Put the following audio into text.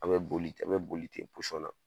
An bɛ boli ten an bɛ boli ten na.